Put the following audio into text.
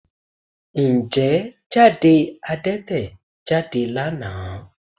Ǹjẹ́ jáde Adẹ́tẹ̀ jáde lánàá?